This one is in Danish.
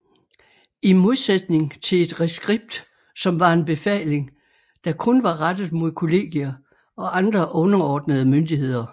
I modsætning til et reskript som var en befaling der kun var rettet mod kollegier og andre underordnede myndigheder